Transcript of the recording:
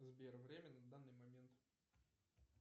сбер время на данный момент